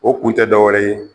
O k kun tɛ dɔwɛrɛ ye